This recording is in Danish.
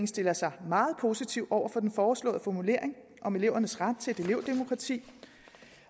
stiller sig meget positivt over for den foreslåede formulering om elevernes ret til et elevdemokrati